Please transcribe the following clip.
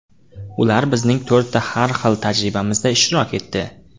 Ular bizning to‘rtta har xil tajribamizda ishtirok etdi.